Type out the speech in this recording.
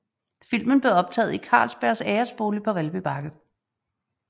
Filmen blev optaget i Carlsbergs æresbolig på Valby Bakke